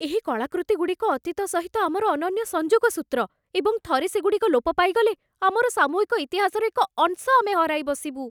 ଏହି କଳାକୃତିଗୁଡ଼ିକ ଅତୀତ ସହିତ ଆମର ଅନନ୍ୟ ସଂଯୋଗ ସୂତ୍ର, ଏବଂ ଥରେ ସେଗୁଡ଼ିକ ଲୋପ ପାଇଗଲେ, ଆମର ସାମୂହିକ ଇତିହାସର ଏକ ଅଂଶ ଆମେ ହରାଇବସିବୁ।